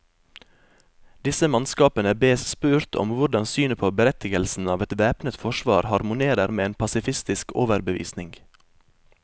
Disse mannskapene bes spurt om hvordan synet på berettigelsen av et væpnet forsvar harmonerer med en pasifistisk overbevisning.